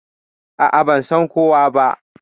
A'a, ba san kowa ba.